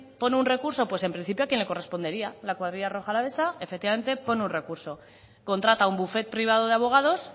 pone un recurso pues en principio a quien le correspondería la cuadrilla rioja alavesa efectivamente pone un recurso contrata un bufet privado de abogados